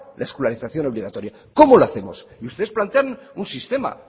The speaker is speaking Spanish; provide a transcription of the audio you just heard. la escolarización obligatoria cómo lo hacemos ustedes plantean un sistema